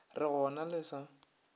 re go na le sa